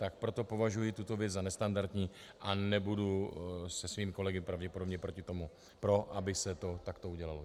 Tak proto považuji tuto věc za nestandardní a nebudu se svými kolegy pravděpodobně proti tomu pro, aby se to takto udělalo.